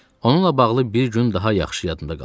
Onunla bağlı bir gün daha yaxşı yadımdadır qalıb.